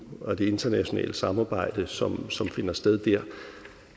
og det internationale samarbejde som som finder sted dér